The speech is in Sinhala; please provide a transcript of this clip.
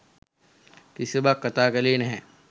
කිසිවක් කතා කළේ නැහැ.